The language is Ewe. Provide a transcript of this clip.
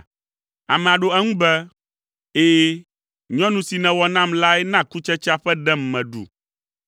Amea ɖo eŋu be, “Ɛ̃, nyɔnu si nèwɔ nam lae na kutsetsea ƒe ɖem meɖu.”